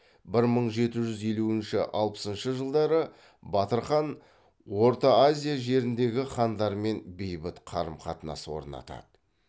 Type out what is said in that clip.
бір мың жеті жүз елуінші алпысыншы жылдары батыр хан орта азия жеріндегі хандармен бейбіт қарым қатынас орнатады